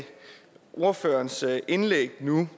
ordførerens indlæg nu